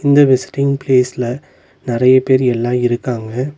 இந்த விசிட்டிங் ப்லேஸ்ல நறைய பேர் எல்லா இருக்காங்க.